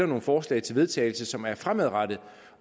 nogle forslag til vedtagelse som er fremadrettet